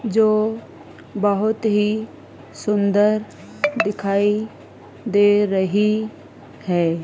जो बहुत ही सुंदर दिखाई दे रही है।